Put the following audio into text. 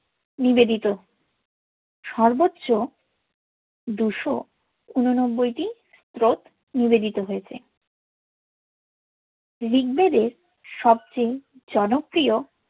নিবেতিতো সর্বোচ্চ দুশোউনোনব্বইতি শ্লোক নিবেতিতো হোযেছে ঋগবেদের সবচেয়ে জনপ্রিয়